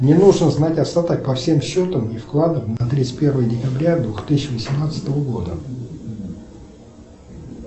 мне нужно знать остаток по всем счетам и вкладам на тридцать первое декабря две тысячи восемнадцатого года